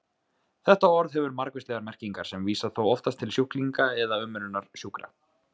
Þetta orð hefur margvíslegar merkingar sem vísa þó oftast til sjúklinga eða umönnunar sjúkra.